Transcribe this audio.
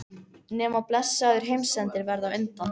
Nema blessaður heimsendir verði á undan.